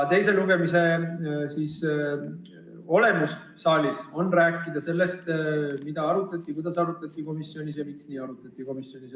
Teise lugemise n-ö olemus saalis on rääkida sellest, mida arutati komisjonis, kuidas arutati komisjonis ja miks nii arutati komisjonis.